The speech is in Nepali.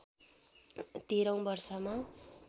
१३ औं वर्षमा